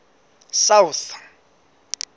south